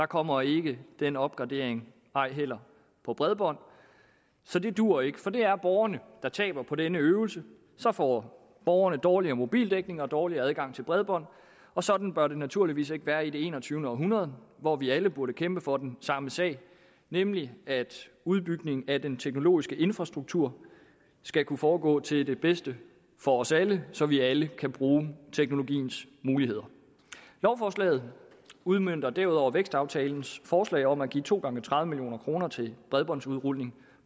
kommer ikke den opgradering ej heller af bredbånd så det duer ikke for det er borgerne der taber på denne øvelse så får borgerne dårligere mobildækning og dårligere adgang til bredbånd og sådan bør det naturligvis ikke være i det enogtyvende århundrede hvor vi alle burde kæmpe for den samme sag nemlig at udbygningen af den teknologiske infrastruktur skal kunne foregå til det bedste for os alle så vi alle kan bruge teknologiens muligheder lovforslaget udmønter derudover vækstaftalens forslag om at give to gange tredive million kroner til bredbåndsudrulning